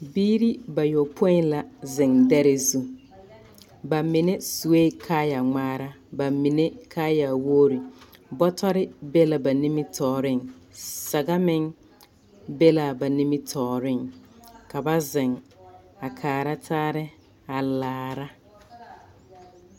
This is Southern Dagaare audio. Bibiiri bayopoi la zeŋ dɛre zu, bamine sue kaayaa ŋmaara, bamine kaaya wogiri, bɔtɔre be la ba nimitɔɔreŋ, saga meŋ be la ba nimitɔɔreŋ ka ba zeŋ a kaara taare a laara. 13384